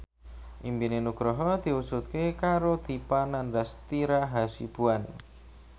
impine Nugroho diwujudke karo Dipa Nandastyra Hasibuan